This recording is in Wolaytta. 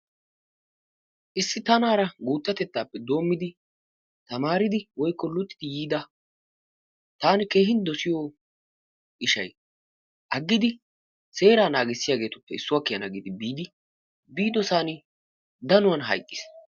Issi tanaara guuttatetaappe doommidi tamaaridi woykko luxidi yiida taani keehin dosiyo ishay aggidi seeraa naagissiyageetuppe issuwa kiyana gi biidi biidosan danuwan hayqqiis.